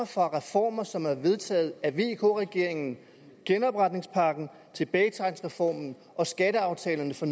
fra reformer som er vedtaget af vk regeringen genopretningspakken tilbagetrækningsreformen og skatteaftalerne for